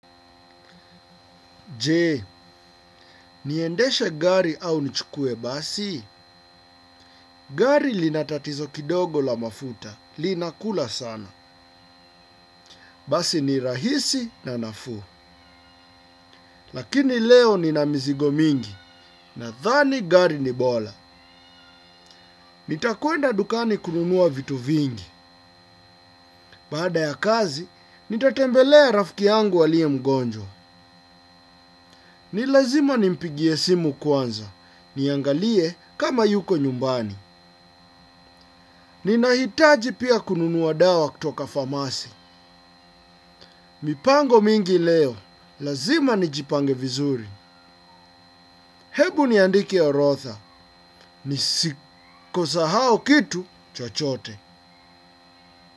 Je, niendeshe gari au nichukue basi? Gari linatatizo kidogo la mafuta, linakula sana. Basi ni rahisi na nafuu. Lakini leo nina mzigo mingi. Nathani gari ni bola. Nitakwenda dukani kununua vitu vingi. Baada ya kazi, nitatembelea rafiki yangu aliye mgonjwa. Ni lazima nimpigie simu kwanza. Niangalie, kama yuko nyumbani. Ninahitaji pia, kununua dawa kutoka famasi. Mipango mingi leo. Lazima, nijipange vizuri. Hebu niandike orotha. Nisiko sa hao kitu, chochote.